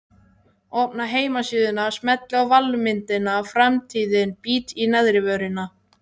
Opna heimasíðuna, smelli á valmyndina Framtíðin, bít í neðrivörina.